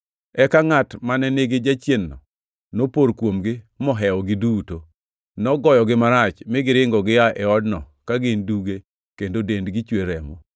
Eka ngʼat mane nigi jachien-no nopor kuomgi mohewogi duto. Nogoyogi marach mi giringo gia e odno ka gin duge kendo dendgi chwer remo.